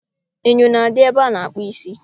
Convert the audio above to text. Enyo na-adị ebe a na-akpụ isi